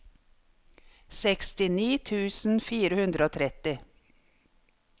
sekstini tusen fire hundre og tretti